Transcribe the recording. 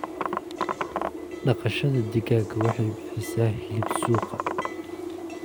Dhaqashada digaaga waxay bixisaa hilib suuqa.